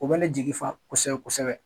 O bɛ ne jigifa kosɛbɛ kosɛbɛ.